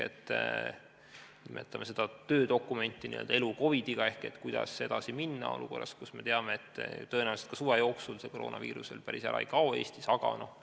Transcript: Nimetame seda töödokumenti "Elu COVID-iga" ehk kuidas edasi minna olukorras, kus me teame, et tõenäoliselt ka suve jooksul koroonaviirus Eestist päris ära ei kao.